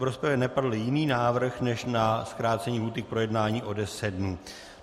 V rozpravě nepadl jiný návrh než na zkrácení lhůty k projednání o deset dnů.